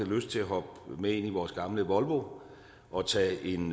lyst til at hoppe med ind i vores gamle volvo og tage en